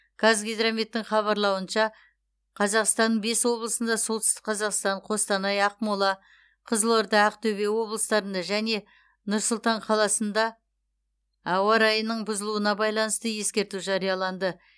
қазгидрометтің хабарлауынша қазақстанның бес облысында солтүстік қазақстан қостанай ақмола қызылорда ақтөбе облыстарында және нұр сұлтан қаласында ауа райының бұзылуына байланысты ескерту жарияланды